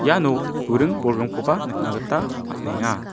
iano buring bolgrimkoba nikna gita man·enga.